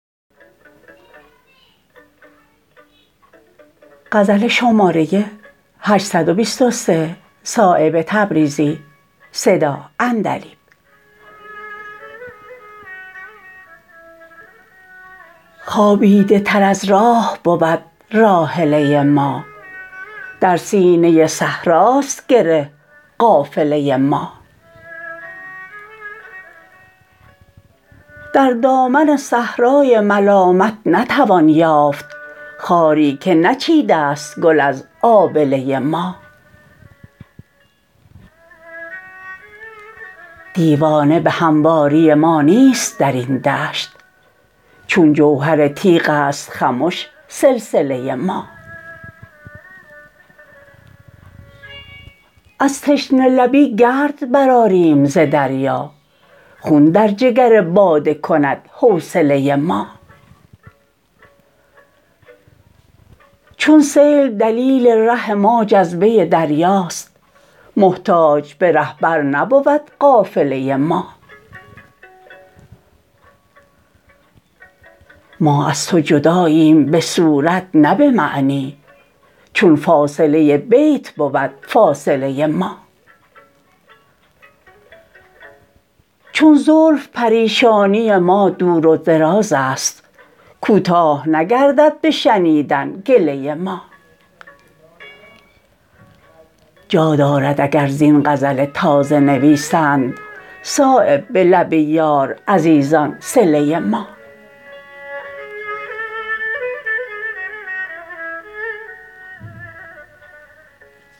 خوابیده تر از راه بود راحله ما در سینه صحراست گره قافله ما در دامن صحرای ملامت نتوان یافت خاری که نچیده است گل از آبله ما دیوانه به همواری ما نیست درین دشت چون جوهر تیغ است خمش سلسله ما از تشنه لبی گرد برآریم ز دریا خون در جگر باده کند حوصله ما چون سیل دلیل ره ما جذبه دریاست محتاج به رهبر نبود قافله ما ما از تو جداییم به صورت نه به معنی چون فاصله بیت بود فاصله ما چون زلف پریشانی ما دور و درازست کوتاه نگردد به شنیدن گله ما جا دارد اگر زین غزل تازه نویسند صایب به لب یار عزیزان صله ما